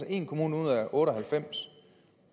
en kommune ud af otte og halvfems